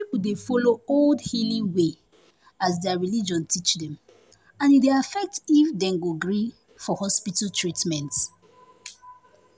some people dey follow old healing way as their religion teach dem and e dey affect if dem go gree for hospital treatment.